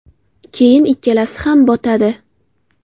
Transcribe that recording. Keyin ikkalasi ham botadi.